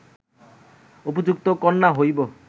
উপযুক্ত কন্যা হইব